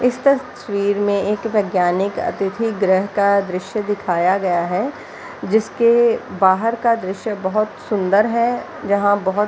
इस तस्वीर में एक वैज्ञानिक अतिथि गृह का दृश्य दिखाया गया है जिसके बाहर का दृश्य बहुत सूंदर है यहाँ बहुत --